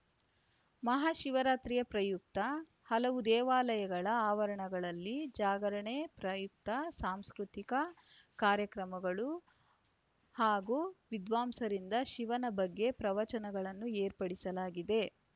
ಮಹಾಶಿವರಾತ್ರಿ ಪ್ರಯುಕ್ತ ಹಲವು ದೇವಾಲಯಗಳ ಆವರಣದಲ್ಲಿ ಜಾಗರಣೆ ಪ್ರಯುಕ್ತ ಸಾಂಸ್ಕೃತಿಕ ಕಾರ್ಯಕ್ರಮಗಳು ಹಾಗೂ ವಿದ್ವಾಂಸರಿಂದ ಶಿವನ ಬಗ್ಗೆ ಪ್ರವಚನಗಳನ್ನು ಏರ್ಪಡಿಸಲಾಗಿದೆ